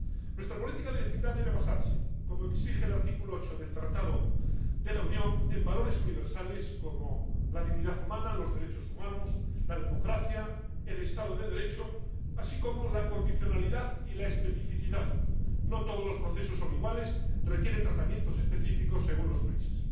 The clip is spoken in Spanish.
Nuestra política de vecindad debe basarse, como exige el artículo 8 del Tratado de la Unión, en valores universales como la dignidad humana, los derechos humanos, la democracia, el Estado de Derecho, así como la condicionalidad y la especificidad —no todos los procesos son iguales, requieren tratamientos específicos según los países—.